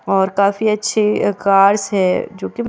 और काफी अच्छे कार्स है जो कि म --